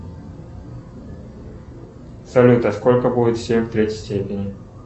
салют а сколько будет семь в третьей степени